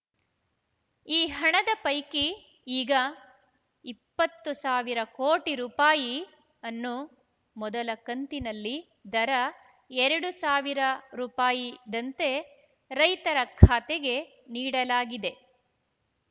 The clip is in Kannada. ಈ ಹಣದ ಪೈಕಿ ಈಗ ಇಪ್ಪತ್ತು ಸಾವಿರ ಕೋಟಿ ರೂಪಾಯಿ ಅನ್ನು ಮೊದಲ ಕಂತಿನಲ್ಲಿ ದರ ಎರಡು ಸಾವಿರ ದಂತೆ ರೈತರ ಖಾತೆಗೆ ನೀಡಲಾಗಿದೆ